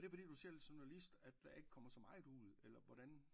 Er det fordi du selv er journalist der ikke kommer så meget ud eller hvordan